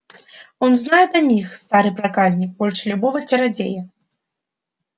он знает о них старый проказник больше любого чародея